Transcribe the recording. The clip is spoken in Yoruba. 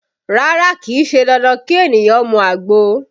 Rárá, kì í ṣe dandan kí ènìyàn mu àgbo